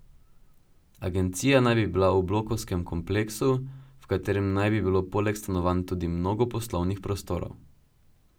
Agencija naj bi bila v blokovskem kompleksu, v katerem naj bi bilo poleg stanovanj tudi mnogo poslovnih prostorov.